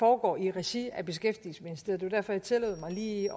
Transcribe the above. foregår i regi af beskæftigelsesministeriet og derfor jeg tillod mig lige